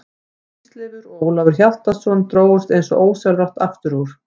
Þeir Ísleifur og Ólafur Hjaltason drógust eins og ósjálfrátt aftur úr.